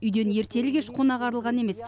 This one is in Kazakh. үйден ертелі кеш қонақ арылған емес